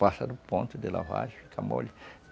Passa do ponto de lavar e fica mole.